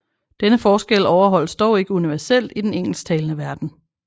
Denne forskel overholdes dog ikke universelt i den engelsktalende verden